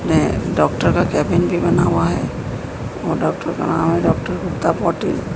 ने डॉक्टर का केबिन भी बना हुआ है और डॉक्टर का नाम है डॉक्टर गुप्ता पाटिल।